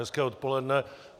Hezké odpoledne.